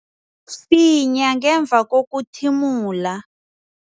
Finya ngemva kokuthimula.